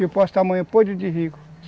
E eu posso estar amanhã podre de rico.